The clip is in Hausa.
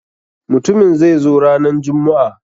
Mutumin zai zo ranan jummu'a.